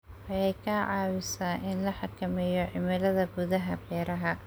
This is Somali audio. Waxay ka caawisaa in la xakameeyo cimilada gudaha beeraha.